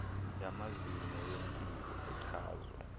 yamazinyo yempilo echazwa